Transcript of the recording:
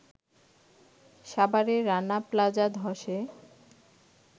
সাভারে রানা প্লাজা ধসে